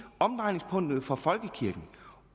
omdrejningspunktet for folkekirken